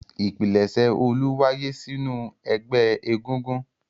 Ìpilẹ̀ṣẹ̀ Olú wáyé sínú ẹgbẹ́ egúngún.